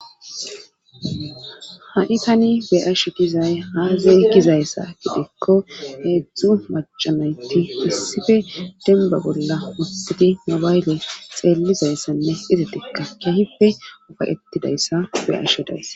ha7i tani be asho dizay haazey gizayssa gidikko heedzdzu macamayti issife denba bolla uttidi mabayle xeellizayssanne izatikka kehife ufayettidayssa beasho dayssa